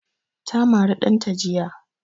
Ta mari ɗanta jiya